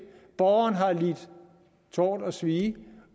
borgeren har lidt tort og svie